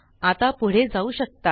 आता पुढे जाऊ शकता